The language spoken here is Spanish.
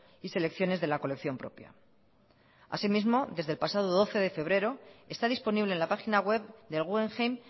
y selecciones de la colección propia así mismo desde el pasado doce de febrero está disponible en la página web del guggenheim